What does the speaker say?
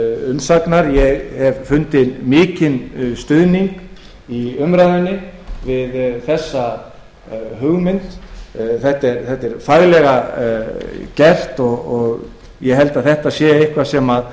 umsagnar ég hef fundið mikinn stuðning í umræðunni við þessa hugmynd þetta er faglega unnið og ég held að þetta sé eitthvað sem